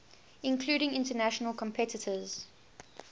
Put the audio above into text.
including international competitors